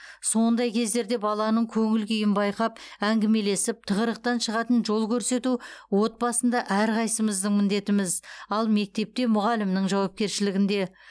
сондай кездерде баланың көңіл күйін байқап әңгімелесіп тығырықтан шығатын жол көрсету отбасында әрқайсымыздың міндетіміз ал мектепте мұғалімнің жауапкершілігінде